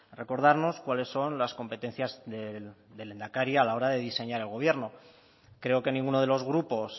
recordarnos cuáles son las competencias del lehendakari a la hora de diseñar el gobierno creo que ninguno de los grupos